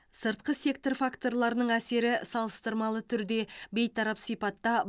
сыртқы сектор факторларының әсері салыстырмалы түрде бейтарап сипатта